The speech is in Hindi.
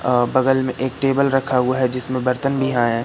अ बगल में एक टेबल रखा हुआ है जिसमें बर्तन भी हैं।